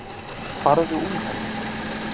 Farðu úr henni.